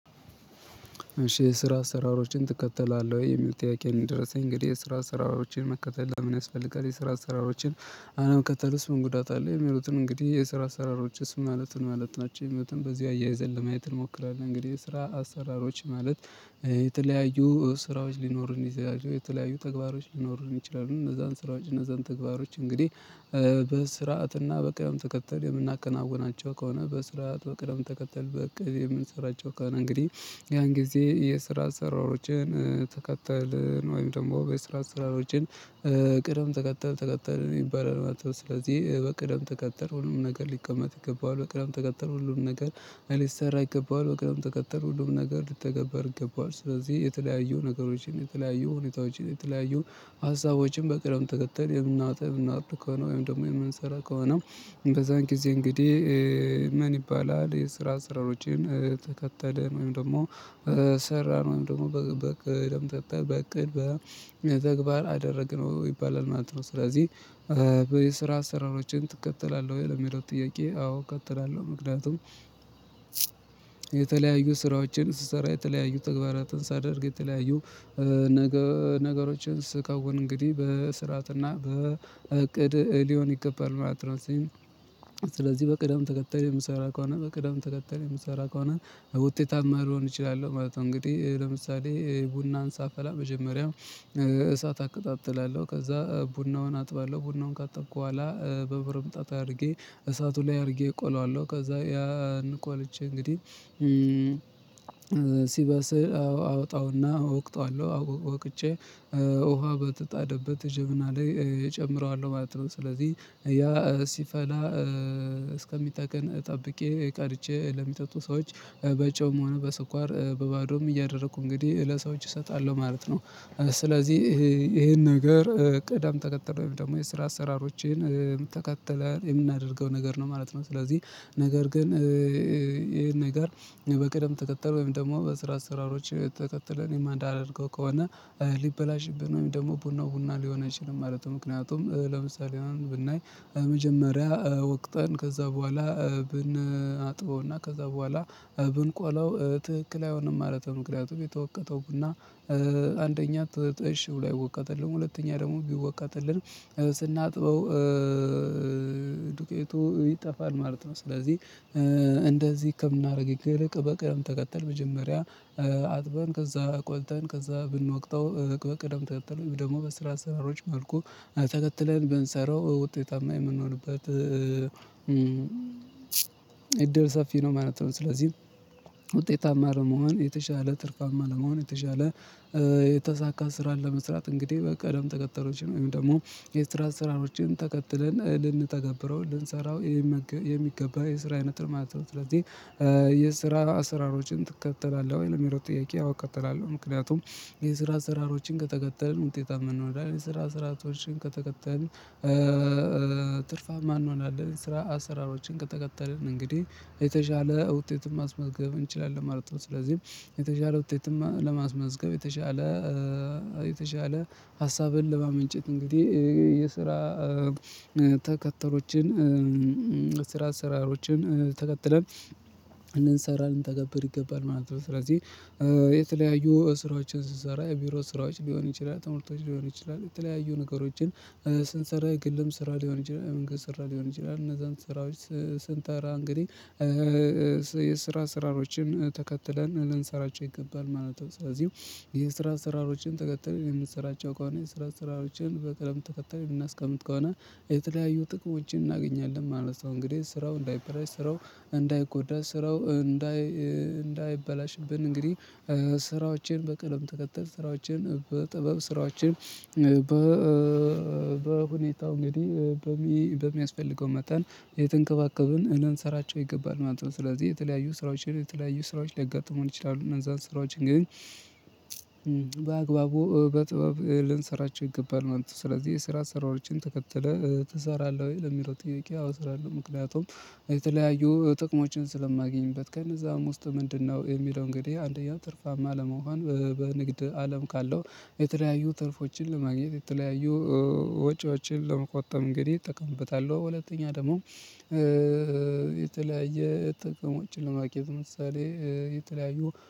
እሺ ስራ ስራሮችን ትከተላለህ የሚጠያቂ እንደረሰኝ እንግዲህ ስራ ስራሮችን መከተል ለምን ያስፈልጋል? የስራ አሰራሮችን አለም ከተልስም ጉዳት አለ የሚሉትን እንግዲህ የስራ አሰራሮችን ማለትን ማለት ናቸው ህመቱን በዚህ አያይዘን ለማየት እንሞክራለን። እንግዲህ ስራ አሰራሮች ማለት የተለያዩ ስራዎች ሊኖሩን ይዘው የተለያዩ ተግባሮች ሊኖሩን ይችላሉ። እነዛን ስራዎች እነዛን ተግባሮች እንግዲህ በስርዓትና በቀደም ተከተል የምናከናውናቸው ከሆነ በስርዓት በቅደም ተከተል በቅድ የምንሰራቸው ከሆነ እንግዲህ ያን ጊዜ የስራ ስራዎችን ተከተል ወይም ደግሞ የስራ ስራዎችን ቅደም ተከተል ተቀጠር ይባላል ማለት ነው። ስለዚህ በቅደም ተቀጠር ሁሉም ነገር ሊቀመጥ ይገባዋል። በቅደም ተቀጠር ሁሉም ነገር አሊሰራ ይገባዋል በቅርብ ተቀጠር ሁሉም ነገር ልትተገበር ይገባዋል። ስለዚህ የተለያዩ ነገሮችን የተለያዩ ሁኔታዎችን የተለያዩ ሀሳቦችን በቅርብ ተከተል የምናወጣ የምናወጣ ከሆነ ወይም ደግሞ የምንሰራ ከሆነ። በዛን ጊዜ እንግዲህ ምን ይባላል የስራ ስራዎችን ተከተልን ወይም ደግሞ ሰራነው ደግሞ በቅድም ጠጣ በቅድም በተግባር አደረግነው ይባላል ማለት ነው። ስለዚህ የስራ ስራዎችን ትከተላለህ ወይ ለሚለው ጥያቄ አዎ እከተላለሁ። ምክንያቱም የተለያዩ ስራዎችን ስሰራ የተለያዩ ተግባራትን ሳደርግ የተለያዩ ነገሮችን ስከውን እንግዲህ በስርዓትና በእቅድ ሊሆን ይገባል ማለት ነው። ስለዚህ በቅደም ተከታይ የምሰራ ከሆነ በቅደም ተከታይ የምሰራ ከሆነ በውጤት አማርዎን እችላለሁ ማለት ነው። እንግዲህ ለምሳሌ ቡናን ሳፈላ መጀመሪያው እሳት አቀጣጥላለሁ ከዛ ቡናውን አጥባለሁ ቡናውን ካጠብኩ በኋላ በብር ምጣጣ አድርጌ እሳቱ ላይ አድርጌ እቆለዋለሁ። ከዛ ያን እኮ አለች እንግዲህ ሲበስል አወጣውና እወቅታለሁ ውቅቼ ውሃ በተጣደበት ጅብና ላይ እጨምረዋለሁ ማለት ነው። ስለዚህ ያ ሲፈላ እስከሚጠቅን ጠብቄ ቀርቼ ለሚጠጡ ሰዎች በጨውም ሆነ በስኳር በባዶም እያደረኩ እንግዲህ ለሰዎች እሰጣለሁ ማለት ነው። ስለዚህ ይሄን ነገር ቀዳም ተከተለ ወይም ደግሞ የስራ አሰራሮችን የምትተካተለው የምናደርገው ነገር ነው ማለት ነው። ስለዚህ ነገር ግን ይሄን ነገር በቅደም ተከተል ወይም ደግሞ በስራ ስራዎች ተከትለን የማንዳርገው ከሆነ ሊበላሽብን ነው። ደግሞ ቡናው ቡና ሊሆን አይችልም ማለት ነው። ምክንያቱም ለምሳሌ አሁን ብናይ መጀመሪያ ወቅትን ከዛ በኋላ ብንአጥበውና ከዛ በኋላ ብንቆለው ትክክል አይሆንም ማለት ነው። ምክንያቱም የተወቀተውና አንደኛ ትሽው ላይወቀጥልን ሁለተኛ ደግሞ ቢወቀጥልን ስናጥበው ዱቄቱ ይጠፋል ማለት ነው። ስለዚህ እንደዚህ ህክምና ከምናደርግ ይልቅ በቅደም ተከተል መጀመሪያ አጥበን ከዛ ቆልተን ከዛ ብንወቅተው እቅድ በቅደም ተከተለ ደግሞ በስራ ስራዎች መልኩ ተከትለን በንሰራው ውጤታማ የምንሆንበት እድል ሰፊ ነው ማለት ነው። ስለዚህ ውጤታማ ለመሆን የተሻለ ትርጓሜ ለመሆን የተሻለ የተሳካ ስራን ለመስራት እንግዲህ በቃ ደም ተቀጠሮችን ወይም ደግሞ የስራ ስራዎችን ተከትለን ልንተገብረው ልንሰራው የሚገባ የስራ አይነት ማለት ነው። ስለዚህ የስራ አሰራሮችን ትከተላለህ ወይ ለሚለው ጥያቄ አዎ እከታተላለሁ። ምክንያቱም የስራ አሰራሮችን ከተከተልን ውጤታማ እንሆናለን ስራ ስራቶችን ከተከተልን ትርፍም እንሆናለን። ስራ አሰራሮችን ከተከተልን እንግዲህ የተሻለ ውጤትም ማስመዝገብ እንችላለን። ማርጠብ ስለዚህም የተሻለ ውጤትማ ለማስመዝገብ የተሻለ የተሻለ ሀሳብን ለማመንጨት እንግዲህ የሰራ ተከተሮችን ስራ ስራሮችን ተከትለን እንሰራለን ተገብር ይገባል ማለት ነው። ስለዚህ የተለያዩ ስራዎችን ስንሰራ የቢሮ ስራዎች ሊሆን ይችላል። ተምርቶች ሊሆን ይችላል። የተለያዩ ነገሮችን ስንሰራ ግልም ስራ ሊሆን ይችላል። መንገስት ስራ ሊሆን ይችላል። እነዛን ስራዎች ስንተራ እንግዲህ የስራ ስራሮችን ተከትለን ልንሰራቸው ይገባል ማለት ነው። ስለዚህ የስራ አሰራሮችን ተከተል የምንሰራቸው ከሆነ የስራ አሰራሮችን በቀደም ተከተል የምናስቀምጥ ከሆነ የተለያዩ ጥቅም ውጪን እናገኛለን ማለት ነው። እንግዲህ ስራው እንዳይበራሽ ስራው እንዳይጎዳ ስራው እንዳይ እንዳይበላሽብን እንግዲህ። ስራዎችን በቀደም ተከተል ስራዎችን በጥበብ ስራዎችን በሁኔታው እንግዲህ በሚያስፈልገው መጣን የትንከባከብን እናንሰራቸው ይገባል ማለት ነው። ስለዚህ የተለያዩ ስራዎችን የተለያዩ ስራዎች ሊያጋጥሙን ይችላሉ። እነዛን ስራዎችን ግን በአግባቡ በጥበብ ልንሰራቸው ይገባል ማለት ነው። ስለዚህ የስራ ስራዎችን ተከትለህ ትሰራለህ ወይ ለሚለው ጥያቄ አውስራለሁ። ምክንያቱም የተለያዩ ጥቅሞችን ስለማገኝበት ከነዛ ውስጥ ምንድነው የሚለው እንግዲህ አንደኛው ትርፋማ ለመሆን በንግድ አለም ካለው የተለያዩ ትርፎችን ለማግኘት የተለያዩ ወጪዎችን ለመቆጣጠም እንግዲህ እጠቀምበታለሁ። ሁለተኛ ደግሞ የተለያየ ጥቅሞችን ለማኬት ምሳሌ የተለያዩ